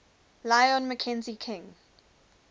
lyon mackenzie king